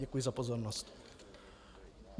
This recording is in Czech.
Děkuji za pozornost.